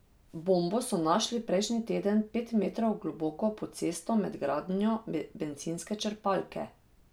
Bombo so našli prejšnji teden pet metrov globoko pod cesto med gradnjo bencinske črpalke.